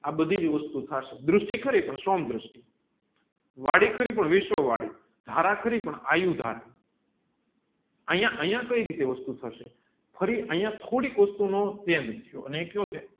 આ બધીજ વસ્તુ થાશે દૃષ્ટિ ખરી પણ દૃષ્ટિ વળી ખરી પણ વિશ્વ વળી ધારા ખરી પણ આયુ ધારા અહીંયા અહીંયા કયી રીતે એ વસ્તુ થશે અહીંયા થોડીક વસ્તુ નો